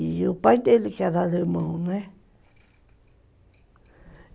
E o pai dele, que era alemão, né?